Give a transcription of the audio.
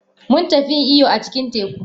Mun tafi yin iyo a cikin teku.